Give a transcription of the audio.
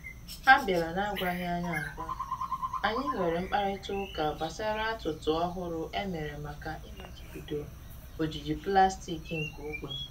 Ha bịara na-agwaghị anyị agwa, anyị nwere mkparịta ụka gbasara atụtụ ọhụrụ e mere maka ịmachibido ojiji pụlastiki nke ogbe